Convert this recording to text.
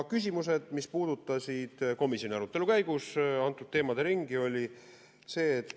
Küsimused, mis puudutasid komisjoni arutelu käigus käsitletud teemade ringi, olid järgmised.